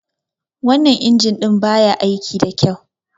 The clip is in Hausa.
Wannan injin ɗin ba ya aiki da kyau.